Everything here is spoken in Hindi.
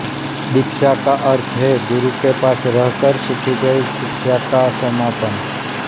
दीक्षा का अर्थ है गुरु के पास रहकर सीखी गई शिक्षा का समापन